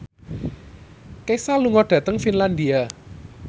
Kesha lunga dhateng Finlandia